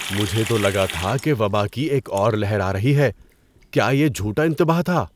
مجھے تو لگا تھا کہ وبا کی ایک اور لہر آ رہی ہے۔ کیا یہ جھوٹا انتباہ تھا؟